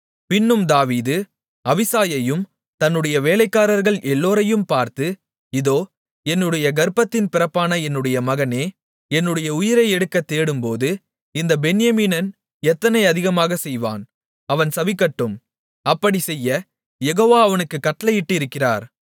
பின்னும் தாவீது அபிசாயையும் தன்னுடைய வேலைக்காரர்கள் எல்லோரையும் பார்த்து இதோ என்னுடைய கர்ப்பத்தின் பிறப்பான என்னுடைய மகனே என்னுடைய உயிரை எடுக்கத் தேடும்போது இந்தப் பென்யமீனன் எத்தனை அதிகமாகச் செய்வான் அவன் சபிக்கட்டும் அப்படிச் செய்ய யெகோவா அவனுக்குக் கட்டளையிட்டிருக்கிறார்